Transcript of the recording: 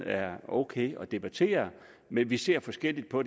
er okay at debattere men vi ser forskelligt på